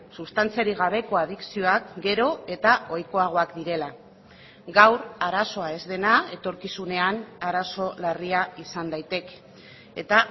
sustantziarik gabeko adikzioak gero eta ohikoagoak direla gaur arazoa ez dena etorkizunean arazo larria izan daiteke eta